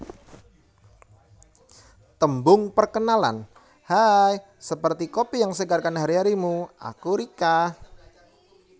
Tembung Perkenalan Haaaaiii seperti kopi yang segarkan hari harimu aku Rica